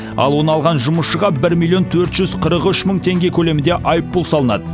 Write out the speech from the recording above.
ал оны алған жұмысшыға бір миллион төрт жүз қырық үш мың теңге көлемінде айыппұл салынады